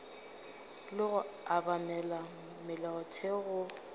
le go obamela molaotheo go